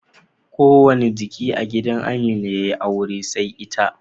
Kowanne jiki a gidan Amina yayi aure sai ita